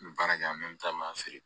N bɛ baara kɛ yan nɔ n bɛ taa maa feere